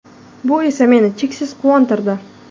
Bu esa meni cheksiz quvontirdi.